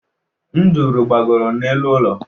Nduru gbagoro n’elu ụlọ